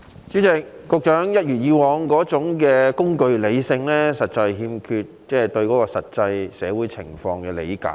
主席，局長一如既往的工具理性，反映他對現實社會欠缺理解。